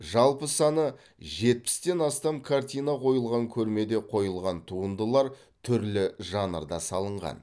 жалпы саны жетпістен астам картина қойылған көрмеде қойылған туындылар түрлі жанрда салынған